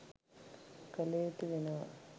කළ යුතු වෙනවා.